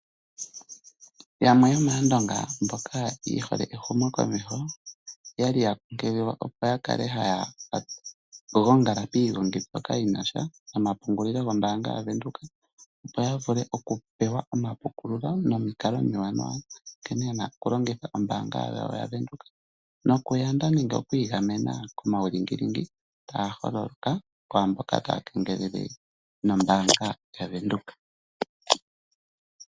Yamwe yomAandonga mboka ye hole ehumokomeho oya li ya kunkililwa , opo ya kale haya gongala piigongi mbyoka yi na sha nomapungulilo gmbaanga yaVenduka, opo ya vule okupewa omapukululo nomikalo omiwanawa nkene ye na okulongitha ombaanga yaVenduka nokuyanda nenge okuigamena komaulingilingi taga holoka kwaa mboka taya kengelele nombaanga yaVenduka.